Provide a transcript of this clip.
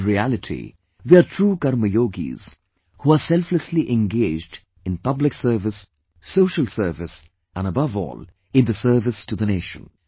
In reality they are true 'Karmyogis,' who are selflessly engaged in public service, social service and, above all, in the service to the nation